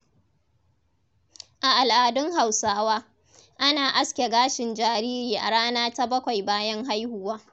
A al’adun Hausawa, ana aske gashin jariri a rana ta bakwai bayan haihuwa.